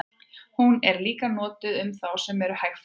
hún er líka notuð um þá sem eru hægfara